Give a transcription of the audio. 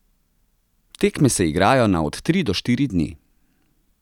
Tekme se igrajo na od tri do štiri dni.